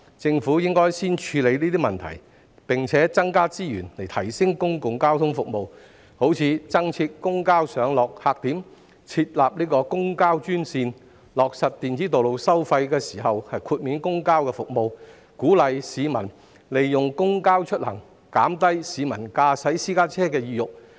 政府應先處理這些問題，並增加資源以提升公共交通服務，例如增設公交上落客點、設立公交專線、在落實電子道路收費時豁免向公交服務收費等，藉此鼓勵市民利用公交出行，減低市民駕駛私家車的意欲。